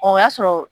O y'a sɔrɔ